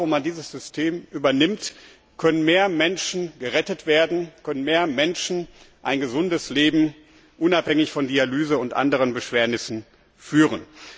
Überall dort, wo man dieses System übernimmt, können mehr Menschen gerettet werden, können mehr Menschen ein gesundes Leben unabhängig von Dialyse und anderen Beschwernissen führen.